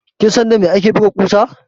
Kin san da me ake buga ƙusa?